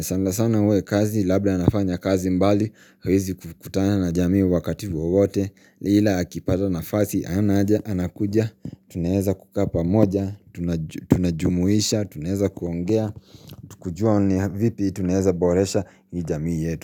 sana sana iwe kazi labda anafanya kazi mbali hawezi kukutana na jamii wakati wowote ni ila akipata nafasi anaja anakuja Tunaweza kukaa pamoja Tuna jumuisha Tunaweza kuongea Tukujua vipi tunaweza boresha hii jamii yetu.